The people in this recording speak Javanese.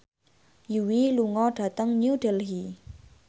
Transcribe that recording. Yui lunga dhateng New Delhi